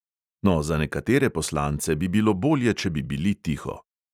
No, za nekatere poslance bi bilo bolje, če bi bili tiho.